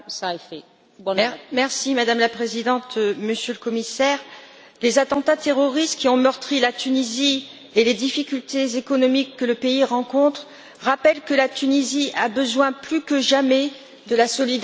Madame la Présidente, Monsieur le Commissaire, les attentats terroristes qui ont meurtri la Tunisie et les difficultés économiques que le pays rencontre rappellent que la Tunisie a besoin, plus que jamais, de la solidarité de l'Union européenne.